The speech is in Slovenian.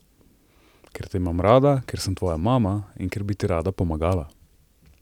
Ker te imam rada, ker sem tvoja mama in ker bi ti rada pomagala!